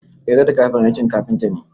Eh zarto kayan aikin kafinta ne